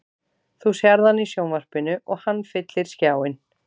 Þú sérð hann í sjónvarpinu og hann fyllir skjáinn.